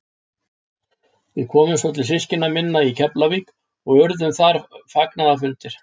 Við komum svo til systkina minna í Keflavík og urðu þar fagnaðarfundir.